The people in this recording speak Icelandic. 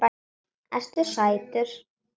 Ertu sætur?